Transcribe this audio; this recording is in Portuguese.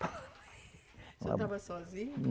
Você estava sozinho?